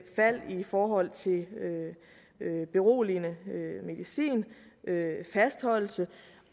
fald i forhold til beroligende medicin fastholdelse